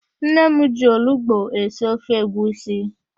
Nne m ji olugbo esi ofe egwusi.